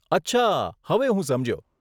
અચ્છા, હવે હું સમજ્યો.